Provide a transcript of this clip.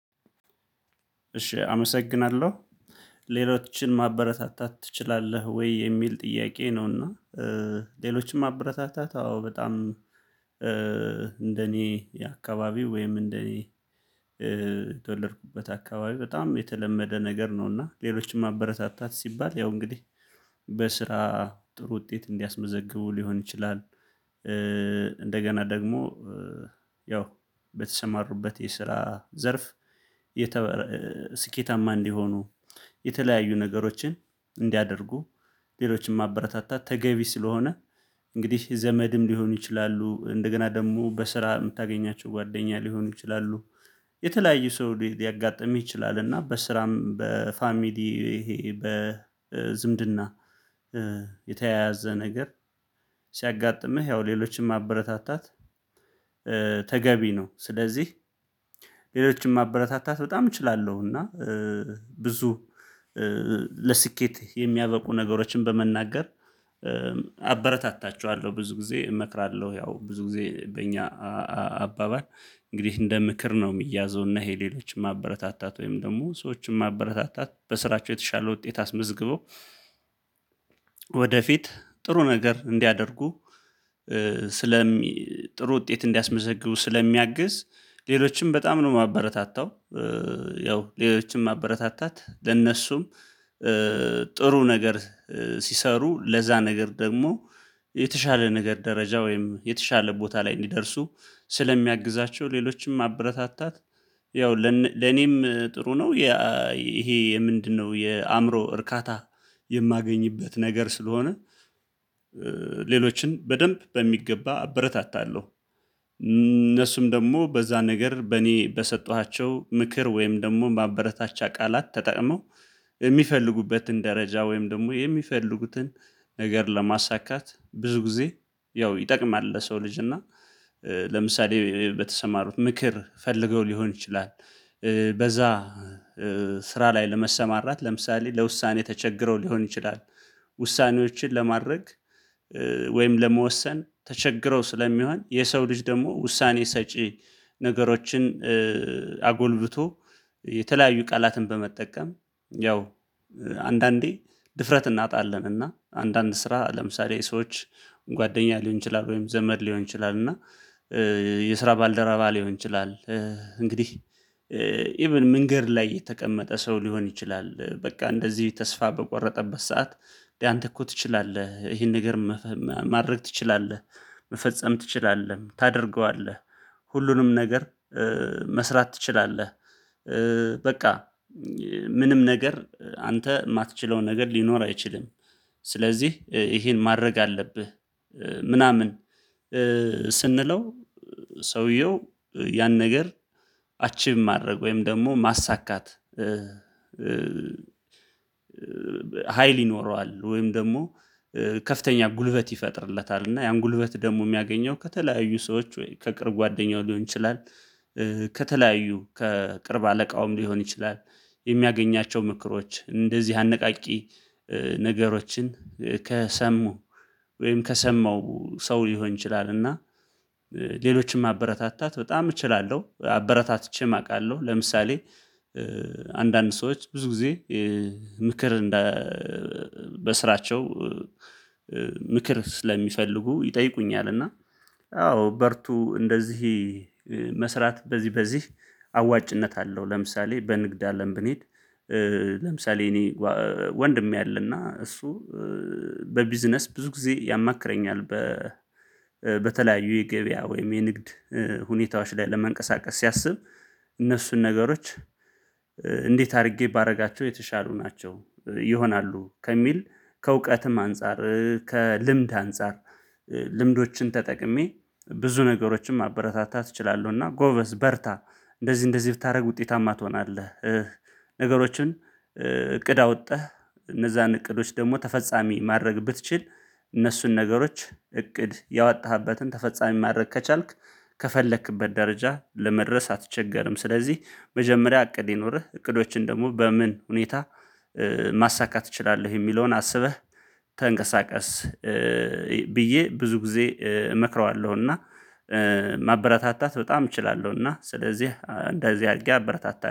እሺ አመሰግናለሁ ሌሎችን ማበረታታት ትችላለህ ወይ የሚል ጥያቄ ነውና? እና ሌሎችን ማበረታታት አዎ በጣም እንደኔ የአካባቢው ወይም እንደኔ የተወለድኩበት አካባቢ በጣም የተለመደ ነገር ነውና ሌሎችን ማበረታታት ሲባል ያው እንግዲህ በስራ ጥሩ ውጤት እንዲያስመዘግቡ ሊሆን ይችላል። ደግሞ ያው በተሰማሩበት የስራ ዘርፍ የተበረ ስኬታማ እንዲሆኑ የተለያዩ ነገሮችን እንዲያደርጉ ሌሎችን ማበረታታት ተገቢ ስለሆነ እንግዲህ ዘመድም ሊሆኑ ይችላሉ እንደገና ደግሞ በስራ የምታገኛቸው ጓደኛ ሊሆኑ ይችላሉ። የተለያዩ ሰው ሊያጋጥምህ ይችላል እና በስራም በፋሚሊ ይሄ በዝምድና የተያያዘ ነገር ሲያጋጥምህ ያው ሌሎችን ማበረታታት ተገቢ ነው። ስለዚህ ሌሎችን ማበረታታት በጣም እችላለሁ እና ብዙ ለስኬት የሚያበቁ ነገሮችን በመናገር አበረታታችኋለሁ ብዙ ጊዜ እመክራለሁ። ያው ብዙ ጊዜ በእኛ አባባል እንግዲህ እንደ ምክር ነው የሚያዘው እና ይሄ ሌሎችን ማበረታታት ወይም ደግሞ ሰዎችን ማበረታታት በስራቸው የተሻለ ውጤት አስመዝግበው ወደፊት ጥሩ ነገር እንዲያደርጉ ስለሚ ጥሩ ውጤት እንዲያስመዘግቡ ስለሚያግዝ ሌሎችንም በጣም ነው የማበረታታው። ያው ሌሎችን ማበረታታት ለነሱም ጥሩ ነገር ሲሰሩ ለዛ ነገር ደግሞ የተሻለ ነገር ደረጃ ወይም የተሻለ ቦታ ላይ እንዲደርሱ ስለሚያግዛቸው ሌሎችም ማበረታታት ያው ለኔም ጥሩ ነው። ይሄ ምንድነው የአእምሮ እርካታ የማገኝበት ነገር ስለሆነ ሌሎችን በደንብ በሚገባ አረታታለሁ። እነሱም ደግሞ በዛ ነገር በእኔ በሰጠኋቸው ምክር ወይም ደግሞ ማበረታቻ ቃላት ተጠቅመው የሚፈልጉበትን ደረጃ ወይም ደግሞ የሚፈልጉትን ነገር ለማሳካት ብዙ ጊዜ ያው ይጠቅማል። ለሰው ልጅ እና ለምሳሌ በተሰማሩት ምክር ፈልገው ሊሆን ይችላል በዛ ስራ ላይ ለመሰማራት ለምሳሌ ለውሳኔ ተቸግረው ሊሆን ይችላል። ውሳኔዎችን ለማድረግ ወይም ለመወሰን ተቸግረው ስለሚሆን የሰው ልጅ ደግሞ ውሳኔ ሰጪ ነገሮችን አጎልብቶ የተለያዩ ቃላትን በመጠቀም ያው አንዳንዴ ድፍረት እናጣለን እና አንዳንድ ስራ ለምሳሌ ሰዎች ጓደኛ ሊሆን ይችላል ወይም ዘመድ ሊሆን ይችላል እና የስራ ባልደረባ ሊሆን ይችላል። እንግዲህ ኢቭን መንገድ ላይ የተቀመጠ ሰው ሊሆን ይችላል በቃ እንደዚህ ተስፋ በቆረጠበት ሰዓት እንዴ አንተ እኮ ትችላለህ ይሄን ነገር ማድረግ ትችላለህ መፈጸም ትችላለህ ታደርገዋለህ ሁሉንም ነገር መስራት ትችላለህ። በቃ ምንም ነገር አንተ የማትችለው ነገር ሊኖር አይችልም። ስለዚህ ይሄን ማድረግ አለብህ ምናምን ስንለው ሰውየው ያን ነገር አቺቭ ማድረግ ወይም ደግሞ ማሳካት ሀይል ይኖረዋል ወይም ደግሞ ከፍተኛ ጉልበት ይፈጥርለታል እና ያን ጉልበት ደግሞ የሚያገኘው ከተለያዩ ሰዎች ወይ ከቅርብ ጓደኛው ሊሆን ይችላል። ከተለያዩ ከቅርብ አለቃውም ሊሆን ይችላል የሚያገኛቸው ምክሮች እንደዚህ አነቃቂ ነገሮችን ከሰሙ ወይም ከሰማው ሰው ሊሆን ይችላል እና ሌሎችን ማበረታታት በጣም እችላለሁ አበረታትቼም አውቃለሁ። ለምሳሌ አንዳንድ ሰዎች ብዙ ጊዜ ምክር እንደ በስራቸው ምክር ስለሚፈልጉ ይጠይቁኛል እና አዎ በርቱ እንደዚህ መስራት በዚህ በዚህ አዋጭነት አለው። ለምሳሌ በንግድ አለም ብንሄድ ለምሳሌ እኔ ወንድሜ አለና እሱ በቢዝነስ ብዙ ጊዜ ያማክረኛል። በተለያዩ የገበያ ወይም የንግድ ሁኔታዎች ላይ ለመንቀሳቀስ ሲያስብ እነሱን ነገሮች እንዴት አድርጌ ባደርጋቸው የተሻሉ ናቸው ይሆናሉ ከሚል ከእውቀትም አንፃር ከልምድ አንፃር ልምዶችን ተጠቅሜ ብዙ ነገሮችን ማበረታታት እችላለሁና ጎበዝ በርታ እንደዚህ እንደዚህ ብታደርግ ውጤታማ ትሆናለህ። ነገሮችን እቅድ አውጥተህ እነዛን እቅዶች ደግሞ ተፈጻሚ ማድረግ ብትችል እነሱን ነገሮች እቅድ ያወጣህበትን ተፈጻሚ ማድረግ ከቻልክ ከፈለክበት ደረጃ ለመድረስ አትቸገርም። ስለዚህ መጀመሪያ እቅድ ይኑርህ እቅዶችህን ደግሞ በምን ሁኔታ ማሳካት እችላለሁ የሚለውን አስበህ ተንቀሳቀስ ብዬ ብዙ ጊዜ እመክረዋለሁና። ማበረታታት በጣም እችላለሁና ስለዚህ እንደዚህ አድርጌ አበረታታለሁ